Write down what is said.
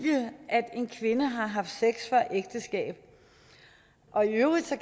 at en kvinde har haft sex før ægteskab og i øvrigt